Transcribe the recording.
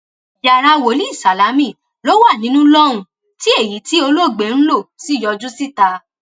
yàrá wòlíì sálámi ló wà nínú lọhùnún tí èyí tí olóògbé ń lọ sí yọjú síta